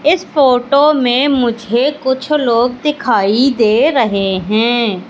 इस फोटो में मुझे कुछ लोग दिखाई दे रहे हैं।